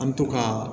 An mi to ka